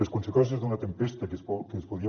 les conseqüències d’una tempesta que es podria